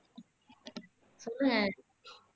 சொல்லுங்க